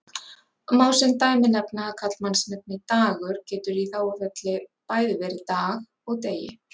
Má sem dæmi nefna að karlmannsnafnið Dagur getur í þágufalli bæði verið Dag og Degi.